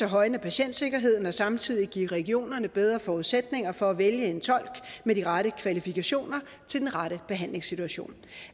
højne patientsikkerheden og samtidig give regionerne bedre forudsætninger for at vælge en tolk med de rette kvalifikationer til den rette behandlingssituation